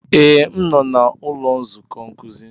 Ee, m nọ n'ụlọ nzukọ nkuzi.